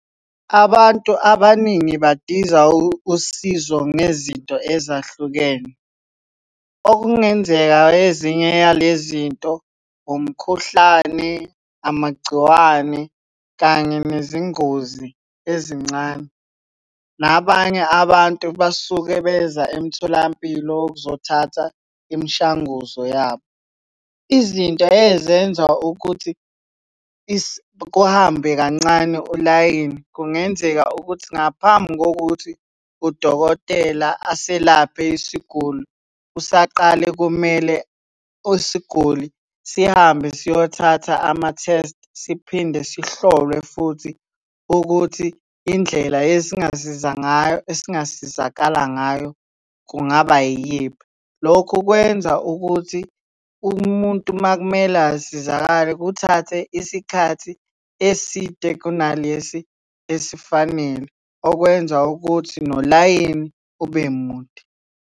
Abantu abaningi badiza usizo ngezinto ezahlukene. Okungenzeka ezinye yale zinto, umkhuhlane, amagciwane, kanye nezingozi ezincane. Nabanye abantu basuke beza emtholampilo ukuzothatha imishanguzo yabo. Izinto ezenza ukuthi kuhambe kancane ulayini, kungenzeka ukuthi ngaphambi kokuthi udokotela aselaphe isiguli, usaqale kumele usiguli sihambe siyothatha ama-test siphinde sihlolwe futhi ukuthi indlela esingasiza ngayo, esingasizakala ngayo kungaba yiyiphi. Lokhu kwenza ukuthi umuntu uma kumele asizakale kuthathe isikhathi eside kunalesi esifanele, okwenza ukuthi nolayini ube mude.